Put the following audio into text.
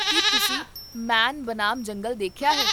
ਕੀ ਤੁਸੀਂ ਮੈਨ ਬਨਾਮ ਜੰਗਲੀ ਦੇਖਿਆ ਹੈ?